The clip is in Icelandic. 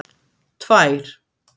tvær